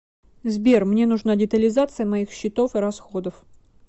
сбер мне нужна детализация моих счетов и расходов